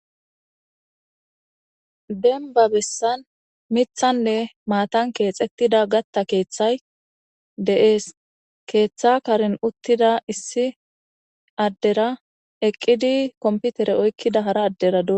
demba bessan mithanne maatan keexettida gatta keeththay deees keeththa karin uttida issi addera eqqidi komputere oykkida hara adderad